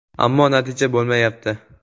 Ammo natija bo‘lmayapti”.